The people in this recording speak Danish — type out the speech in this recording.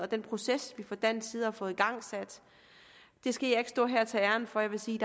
den proces vi fra dansk side har fået igangsat det skal jeg ikke stå her og tage æren for jeg vil sige